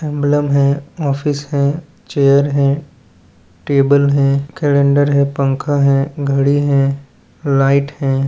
Emblem हैं office हैं chair हैं टेबल हैं कलेंडर हैं पंखा हैं घड़ी हैं लाइट हैं।